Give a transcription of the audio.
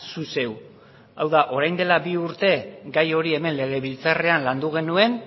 zu zeu hau da orain dela bi urte gai hori hemen legebiltzarrean landu genuen